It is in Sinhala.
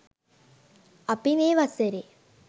අපි මේ වසරේ